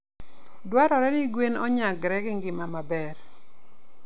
Dwarore ni gwen onyagre gi ngima maber.